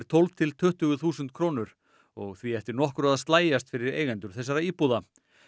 tólf til tuttugu þúsund krónur og því eftir nokkru að slægjast fyrir eigendur þessara íbúða